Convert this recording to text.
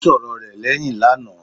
Ó sọ̀rọ rẹ̀ lẹ́hìn lánàá.